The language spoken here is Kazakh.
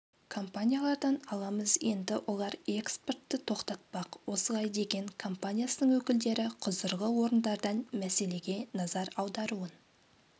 компаниялардан аламыз енді олар экспортты тоқтатпақ осылай деген компаниясының өкілдері құзырлы орындардан мәселеге назар аударуын